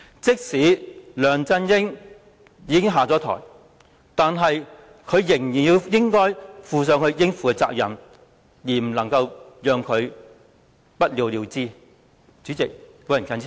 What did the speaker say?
即使梁振英下台，他亦依然要負上應有的責任，不能夠讓事件不了了之。